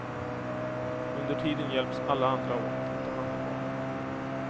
Under tiden hjälps alla andra åt att ta hand om barnen.